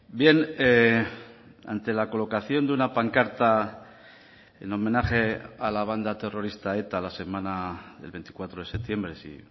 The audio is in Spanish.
bien ante la colocación de una pancarta en homenaje a la banda terrorista eta la semana del veinticuatro de septiembre si